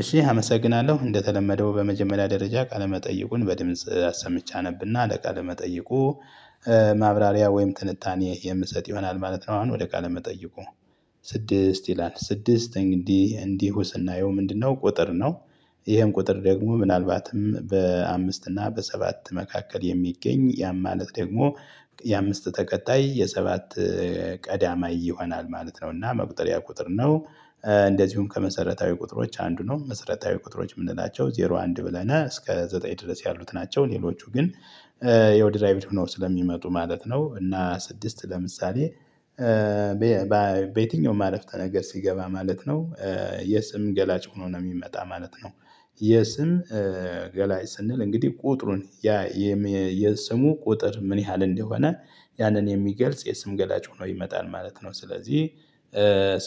እሺ አመሰግናለሁ እንደተለመደው በመጀመሪያ ደረጃ ቃለመጠይቁን በድምጽ አሰምቼ አነብና ለአለቃ መጠይቁ ማብራሪያ ወይም ትንታኔ የምሰጥ ይሆናል ማለት ነው። አሁን ወደ ቃል ለመጠየቁ ስድስት ይላል ስድስት እንግዲህ እንዲሁ ስናዬው ምንድነው ቁጥር ነው? ይሄም ቁጥር ደግሞ ምናልባትም በአምስት እና በሰባት መካከል የሚገኝ ያ ማለት ደግሞ የአምስት ተከታይ የሰባት ቀዳማይ ይሆናል ማለት ነው። እና መቁጠሪያ ቁጥር ነው። እንደዚሁም ከመሰረታዊ ቁጥሮች አንዱ ነው መሰረታዊ ቁጥሮች የምንላቸው ዜሮ አንድ ብለናል እስከ ዘጠኝ ድረስ ያሉት ናቸው። ሌሎቹ ግን ይኸው ድራይቭድ ሆነው ስለሚመጡ ማለት ነው። እና ስድስት ለምሳሌ በየትኛውም ማለፍተ ነገር ሲገባ ማለት ነው። የስም ገላጭ ሆኖ ነው የሚመጣ ማለት ነው። የስም ገላጭ ስንል እንግዲህ ቁጥሩን ያ የስሙ ቁጥር ምን ያህል እንደሆነ ያንን የሚገልጽ የስም ገላጭ ሆኖ ይመጣል ማለት ነው። ስለዚህ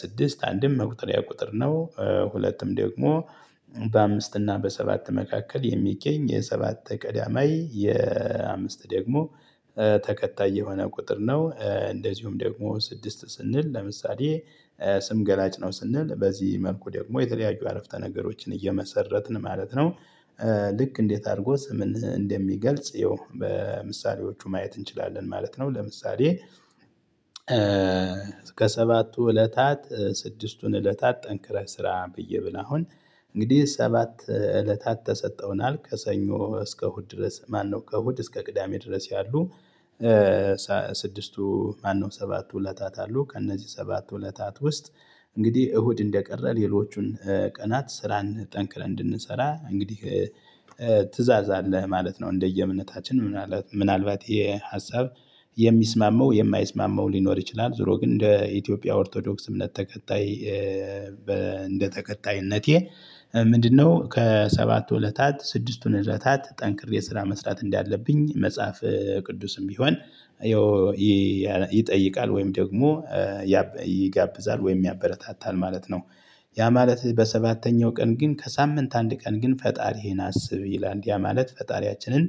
ስድስት አንድም መቁጠሪያ ቁጥር ነው። ሁለቱም ደግሞ በአምስት እና በሰባት መካከል የሚገኝ የሰባት ቀዳማይ የአምስት ደግሞ ተከታይ የሆነ ቁጥር ነው። እንደዚሁም ደግሞ ስድስት ስንል ለምሳሌ ስም ገላጭ ነው ስንል በዚህ መልኩ ደግሞ የተለያዩ አረፍተ ነገሮችን እየመሰረትን ማለት ነው። ልክ እንዴት አድርጎ ስምን እንደሚገልጽ ይኸው በምሳሌዎቹ ማየት እንችላለን ማለት ነው። ለምሳሌ ከሰባቱ እለታት ስድስቱን እለታት ጠንክረህ ስራ ብዬ ብል አሁን እንግዲህ ሰባት እለታት ተሰጠውናል ከሰኞ እስከ እሁድ ድረስ ማነው ከእሁድ እስከ ቅዳሜ ድረስ ያሉ? ስድስቱ ማነው ሰባቱ ውለታት አሉ። ከእነዚህ ሰባቱ ውለታት ውስጥ እንግዲህ እሁድ እንደቀረ ሌሎቹን ቀናት ስራን ጠንክረን እንድንሰራ እንግዲህ ትእዛዝ አለህ ማለት ነው። እንደየ እምነታችን ምናልባት ምናልባት ይሄ ሀሳብ የሚስማማው የማይስማማው ሊኖር ይችላል። ዙሮ ግን እንደ ኢትዮጵያ ኦርቶዶክስ እምነት ተከታይ እንደ ተከታይነቴ። ምንድነው? ከሰባቱ እለታት ስድስቱን እለታት ጠንክሬ ስራ መስራት እንዳለብኝ መጽሐፍ ቅዱስም ቢሆን ይጠይቃል ወይም ደግሞ ይጋብዛል ወይም ያበረታታል ማለት ነው። ያ ማለት በሰባተኛው ቀን ግን ከሳምንት አንድ ቀን ግን ፈጣሪህን አስብ ይላል። ያ ማለት ፈጣሪያችንን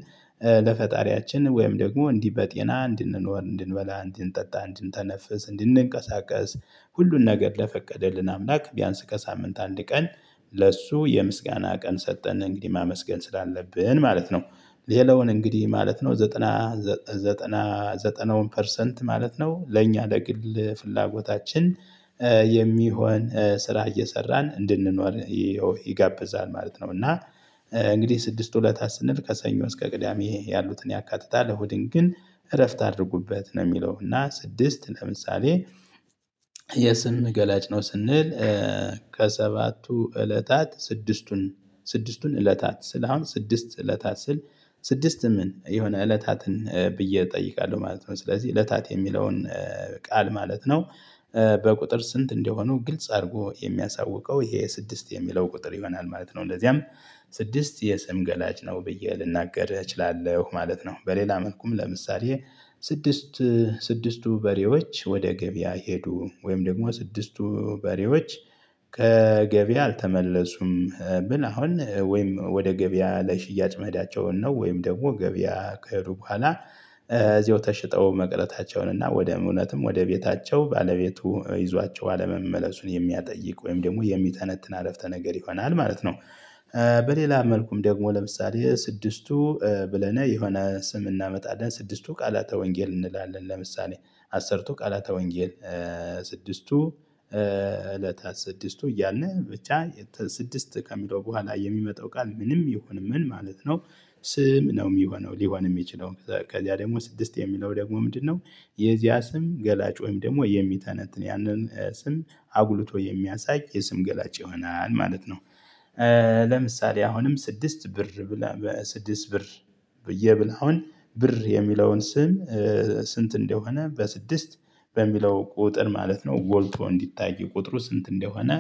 ለፈጣሪያችን ወይም ደግሞ እንዲህ በጤና እንድንኖር እንድንበላ እንድንጠጣ እንድንተነፍስ እንድንንቀሳቀስ ሁሉን ነገር ለፈቀደልን አምላክ ቢያንስ ከሳምንት አንድ ቀን ለሱ የምስጋና ቀን ሰጠን እንግዲህ ማመስገን ስላለብን ማለት ነው። ሌላውን እንግዲህ ማለት ነው ዘጠና ዘጠና ዘጠና ዘጠናውን ፐርሰንት ማለት ነው ለእኛ ለግል ፍላጎታችን የሚሆን ስራ እየሰራን እንድንኖር ይጋብዛል ማለት ነው። እና እንግዲህ ስድስቱ እለታት ስንል ከሰኞ እስከ ቅዳሜ ያሉትን ያካትታል እሁድን ግን እረፍት አድርጉበት ነው። የሚለው እና ስድስት ለምሳሌ የስንት ገላጭ ነው ስንል ከሰባቱ እለታት ስድስቱን ስድስቱን እለታት ስል አሁን ስድስት እለታት ስል ስድስት ምን የሆነ እለታትን ብዬ እጠይቃለሁ ማለት ነው። ስለዚህ እለታት የሚለውን ቃል ማለት ነው። በቁጥር ስንት እንደሆኑ ግልጽ አድርጎ የሚያሳውቀው ይሄ ስድስት የሚለው ቁጥር ይሆናል ማለት ነው። እንደዚያም ስድስት የሰም ገላጭ ነው ብዬ ልናገር እችላለሁ ማለት ነው። በሌላ መልኩም ለምሳሌ ስድስት ስድስቱ በሬዎች ወደ ገበያ ሄዱ ወይም ደግሞ ስድስቱ በሬዎች ከገበያ አልተመለሱም ብል አሁን ወይም ወደ ገበያ ለሽያጭ መሄዳቸውን ነው ወይም ደግሞ ገበያ ከሄዱ በኋላ እዚያው ተሽጠው መቅረታቸውን እና ወደ እውነትም ወደ ቤታቸው ባለቤቱ ይዟቸው አለመመለሱን የሚያጠይቁ ወይም ደግሞ የሚተነትን አረፍተ ነገር ይሆናል ማለት ነው። በሌላ መልኩም ደግሞ ለምሳሌ ስድስቱ ብለነ የሆነ ስም እናመጣለን ስድስቱ ቃላተ ወንጌል እንላለን ለምሳሌ አስርቱ ቃላተ ወንጌል። ስድስቱ እለታት ስድስቱ እያልን ብቻ ስድስት ከሚለው በኋላ የሚመጣው ቃል ምንም ይሁን ምን ማለት ነው። ስም ነው የሚሆነው። ሊሆን የሚችለው ከዛ ከዚያ ደግሞ ስድስት የሚለው ደግሞ ምንድነው? የዚያ ስም ገላጭ ወይም ደግሞ የሚተነትን ያንን ስም አጉልቶ የሚያሳይ የስም ገላጭ ይሆናል ማለት ነው። ለምሳሌ አሁንም ስድስት ብር ብለን በስድስት ብር ብዬ ብል አሁን ብር የሚለውን ስም ስንት እንደሆነ በስድስት በሚለው ቁጥር ማለት ነው። ጎልቶ እንዲታይ ቁጥሩ ስንት እንደሆነ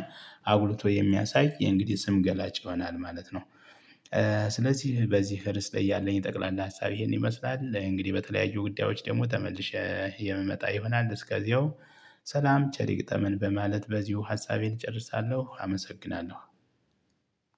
አጉልቶ የሚያሳይ ይሄ እንግዲህ ስም ገላጭ ይሆናል ማለት ነው። ስለዚህ በዚህ ርዕስ ላይ ያለኝ ጠቅላላ ሀሳብ ይሄን ይመስላል። እንግዲህ በተለያዩ ጉዳዮች ደግሞ ተመልሼ የምመጣ ይሆናል እስከዚያው ሰላም ቸር ይግጠመን በማለት በዚሁ ሀሳቤን እጨርሳለሁ አመሰግናለሁ።